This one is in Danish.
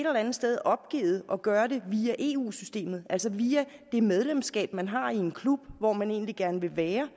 andet sted opgivet at gøre det via eu systemet altså via det medlemskab man har i en klub hvor man egentlig gerne vil være